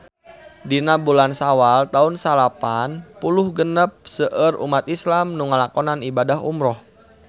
Dina bulan Sawal taun salapan puluh genep seueur umat islam nu ngalakonan ibadah umrah